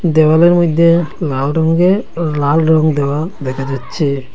দেয়ালের মইধ্যে লাল রঙ্গে লাল রং দেওয়া দেখা যাচ্ছে।